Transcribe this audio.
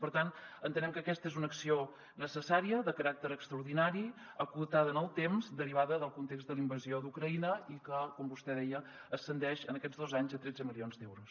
per tant entenem que aquesta és una acció necessària de caràcter extraordinari acotada en el temps derivada del context de la invasió d’ucraïna i que com vostè deia ascendeix en aquests dos anys a tretze milions d’euros